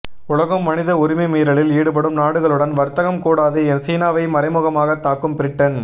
உலகம் மனித உரிமைமீறலில் ஈடுபடும் நாடுகளுடன் வர்த்தகம் கூடாது சீனாவை மறைமுகமாகத் தாக்கும் பிரிட்டன்